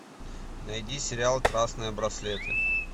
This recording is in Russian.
найди сериал красные браслеты